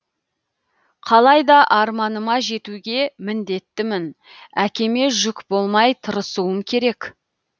қалайда арманыма жетуге міндеттімін әкеме жүк болмай тырысуым керек